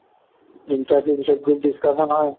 interview ৰ পিছত group discussion হয়